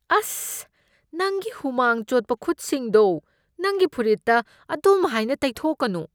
ꯑꯁ꯫ ꯅꯪꯒꯤ ꯍꯨꯃꯥꯡ ꯆꯣꯠꯄ ꯈꯨꯠꯁꯤꯡꯗꯣ ꯅꯪꯒꯤ ꯐꯨꯔꯤꯠꯇ ꯑꯗꯨꯝꯍꯥꯏꯅ ꯇꯩꯊꯣꯛꯀꯅꯨ꯫